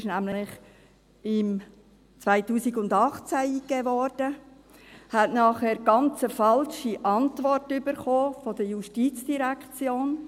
Sie wurde nämlich im Jahr 2018 eingegeben und erhielt dann eine ganz falsche Antwort durch die JGK erhalten.